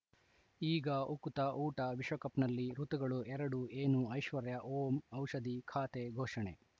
ಈಗ ಉಕುತ ಊಟ ವಿಶ್ವಕಪ್‌ನಲ್ಲಿ ಋತುಗಳು ಎರಡು ಏನು ಐಶ್ವರ್ಯಾ ಓಂ ಔಷಧಿ ಖಾತೆ ಘೋಷಣೆ